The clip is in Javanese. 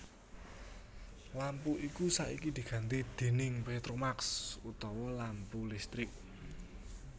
Lampu iku saiki diganti déning petromax utawa lampu listrik